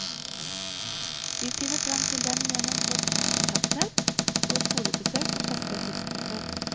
Vi finner frem til dem gjennom vårt kontaktnett og skolebesøk på faste tidspunkter.